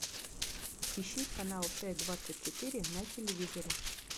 ищи канал т двадцать четыре на телевизоре